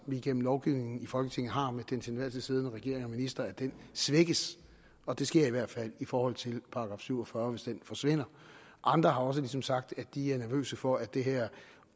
vi gennem lovgivningen i folketinget har med den til enhver tid siddende regering og minister svækkes og det sker i hvert fald i forhold til § syv og fyrre hvis den forsvinder andre har også ligesom sagt at de er nervøse for at det her